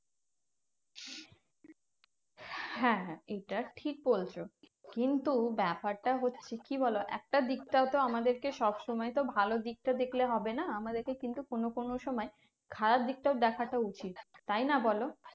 হ্যাঁ হ্যাঁ এটা ঠিক বলছো। কিন্তু ব্যাপারটা হচ্ছে কি বলো? একটা দিকটাও আমাদেরকে সবসময় তো ভালো দিকটা দেখলে হবে না? আমাদেরকে কিন্তু কোনো কোনো সময় খারাপ দিকটাও দেখাটাও উচিত, তাইনা বলো?